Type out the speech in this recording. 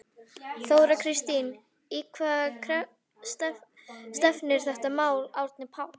Þóra Kristín: Í hvað stefnir þetta mál Árni Páll?